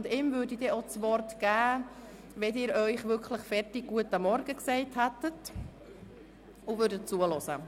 Ihm würde ich das Wort erteilen, sobald Sie damit fertig sind, sich einen guten Morgen zu wünschen und bereit sind, zuzuhören.